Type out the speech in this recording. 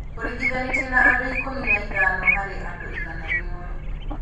Ũringithanĩtie na andũ ikũmi na ithano harĩ andũ igana rĩmwe